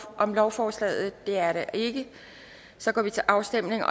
om lovforslaget det er der ikke og så går vi til afstemning